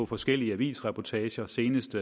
forskellige avisreportager senest